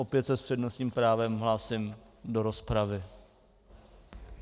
Opět se s přednostním právem hlásím do rozpravy.